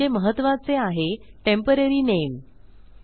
पुढचे महत्त्वाचे आहे टेम्पोररी नामे